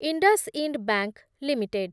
IndusInd bank limited